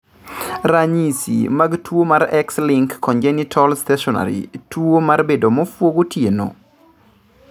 Ranyisi mag tuo mar X-linked congenital stationary tuo mar bedo muofu gotieno?